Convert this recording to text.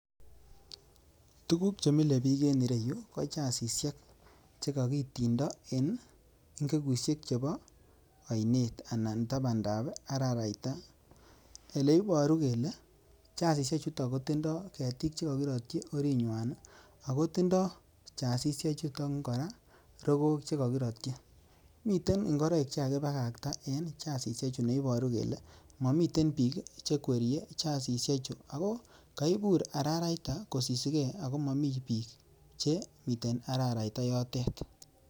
tuguk che mile biik en ireyuu ko chazishek che kokitindo en ing'ekushek chepo oinet anan taban ndap araraita ele iboru kele chazishek chuto kotindo ketik chekokirotyi orinywan ago tindo chazishe chuton kora rokook che kokirotyi miten ing'oroik chekakibakta en chazishe chuto neiboru kele momiten biik chekwerie chazishe chu ago koiburararait kosisigen momi biik che miten araraita yoten